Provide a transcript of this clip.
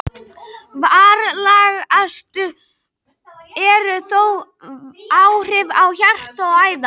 Alvarlegust eru þó áhrif á hjarta og æðar.